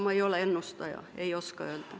Ma ei ole ennustaja, ei oska öelda.